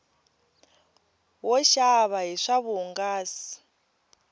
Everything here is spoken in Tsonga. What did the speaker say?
wo xava hi swa vuhungasi